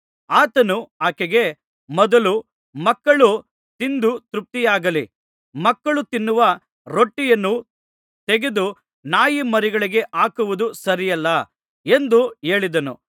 ಆತನು ಆಕೆಗೆ ಮೊದಲು ಮಕ್ಕಳು ತಿಂದು ತೃಪ್ತಿಯಾಗಲಿ ಮಕ್ಕಳು ತಿನ್ನುವ ರೊಟ್ಟಿಯನ್ನು ತೆಗೆದು ನಾಯಿಮರಿಗಳಿಗೆ ಹಾಕುವುದು ಸರಿಯಲ್ಲ ಎಂದು ಹೇಳಿದನು